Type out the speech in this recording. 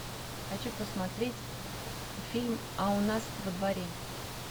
хочу посмотреть фильм а у нас во дворе